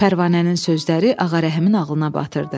Pərvanənin sözləri Ağarəhimin ağlına batırdı.